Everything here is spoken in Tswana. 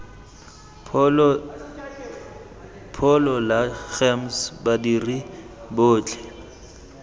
pholo la gems badiri botlhe